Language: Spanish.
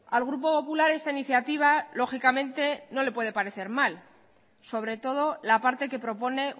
al grupo popular esta iniciativa lógicamente no le puede parecer mal sobre todo la parte que propone